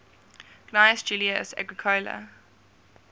gnaeus julius agricola